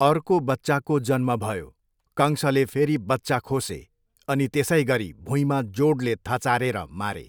अर्को बच्चाको जन्म भयो, कंशले फेरि बच्चा खोसे अनि त्यसैगरी भुइँमा जोडले थचारेर मारे।